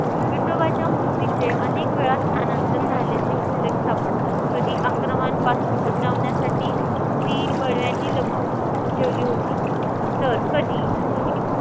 विठोबाच्या मूर्तीचे अनेकवेळा स्थानांतर झालेचे उल्लेख सापडतात. कधी आक्रमांपासून बचावण्यासाठी ती बडव्यांनी लपवून ठेवली होती. तर कधी कोणी